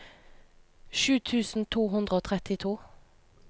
sju tusen to hundre og trettito